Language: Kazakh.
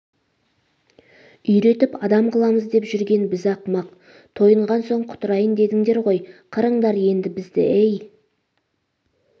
үйретіп адам қыламыз деп жүрген біз ақымақ тойынған соң құтырайын дедіңдер ғой қырыңдар енді бізді ей